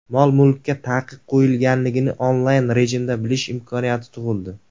Mol-mulkka taqiq qo‘yilganini onlayn rejimda bilish imkoniyati tug‘ildi.